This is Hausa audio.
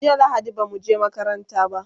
jiya lahadi bamu je makaranta ba